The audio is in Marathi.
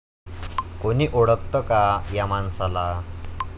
कोणी ओळखतं का या माणसाला?